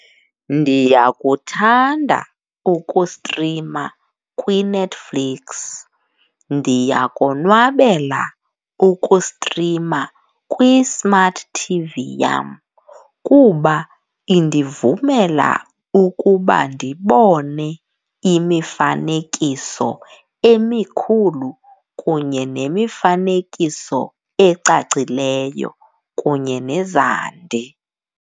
Ndiyakuthanda ukustrima kwiNetflix, ndiyakonwabela ukustrima kwi-smart TV yam kuba indivumela ukuba ndibone imifanekiso emikhulu kunye nemifanekiso ecacileyo kunye nezandi.